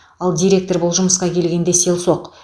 ал директор бұл жұмысқа келгенде селсоқ